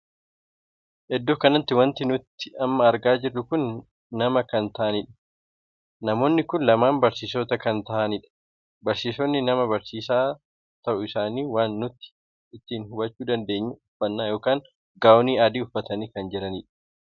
Iddoo kanatti wanti nuti amma argaa jirru kun nama kan taa'aniidha. namoonni kun lamaan barsiisota kan taahanidha. barsiisonni kana barsiisaa tahuu isaanii waan nuti ittiin hubachuu dandeenyu uffannaa ykn gaa'onii adii uffatanii kan jiranidha.